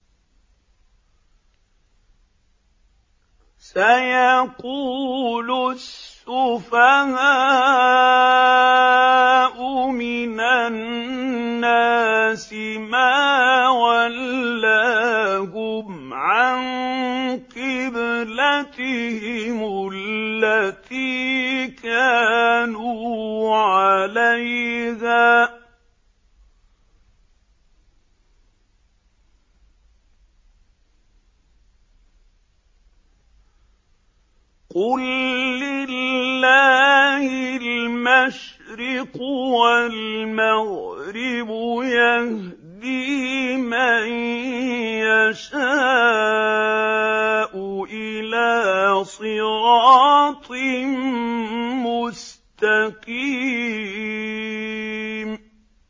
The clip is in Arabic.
۞ سَيَقُولُ السُّفَهَاءُ مِنَ النَّاسِ مَا وَلَّاهُمْ عَن قِبْلَتِهِمُ الَّتِي كَانُوا عَلَيْهَا ۚ قُل لِّلَّهِ الْمَشْرِقُ وَالْمَغْرِبُ ۚ يَهْدِي مَن يَشَاءُ إِلَىٰ صِرَاطٍ مُّسْتَقِيمٍ